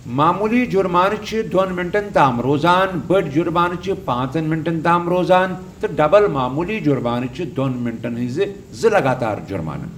معموٗلی جُرمانہٕ چھِ دوٚن مِنٹَن تام روزان، بٔڑۍ جُرمانہٕ چھِ پانٛژن مِنٹَن تام روزان، تہٕ ڈبل معموٗلی جُرمانہٕ چھِ دوٚن مِنٹَن ہِنٛز زٕ لگاتار جُرمانہٕ۔